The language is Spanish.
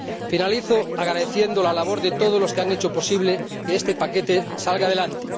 Finalizo agradeciendo la labor de todos los que han hecho posible que este paquete salga adelante.